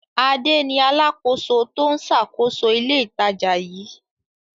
Adé ni alákòóso tó ń ṣàkóso ilé-ìtajà yìí.